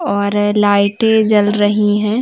और लाइटे जल रही हैं।